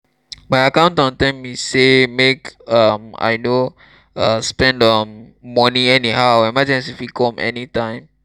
my accountant tell me sey make um i no um spend um moni anyhow emergency fit come anytime.